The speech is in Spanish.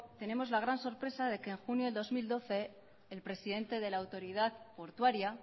tenemos la gran sorpresa de que en junio del dos mil doce el presidente de la autoridad portuaria